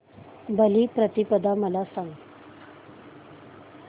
बलिप्रतिपदा मला सांग